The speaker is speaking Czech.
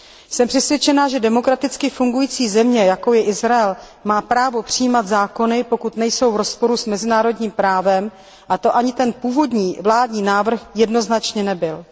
Jsem přesvědčena, že demokraticky fungující země, jakou je Izrael, má právo přijímat zákony, pokud nejsou v rozporu s mezinárodním právem, a to ani ten původní vládní návrh jednoznačně nebyl.